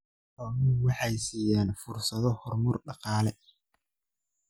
Xooluhu waxay siinayaan fursado horumar dhaqaale.